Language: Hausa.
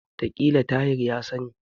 Wataƙila Tahir ya sani.